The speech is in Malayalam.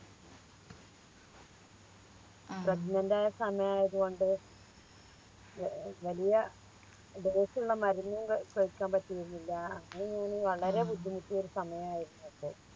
Pregnant ആയ സമയായത് കൊണ്ട് ഏർ വലിയ Dose ഉള്ള മരുന്നും ക കയിക്കാൻ പറ്റിരുന്നില്ല അങ്ങനെ ഞാൻ വളരെ ബുദ്ധിമുട്ടിയൊരു സമയായിരുന്നു അത്